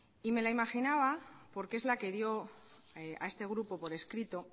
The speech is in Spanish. y me la imaginaba porque es la que dio a este grupo por escrito